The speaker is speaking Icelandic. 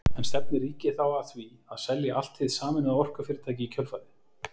En stefnir ríkið þá að því að selja allt hið sameinaða orkufyrirtæki í kjölfarið?